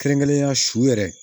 Kɛrɛnkɛrɛnnenya su yɛrɛ